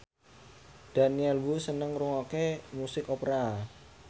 Daniel Wu seneng ngrungokne musik opera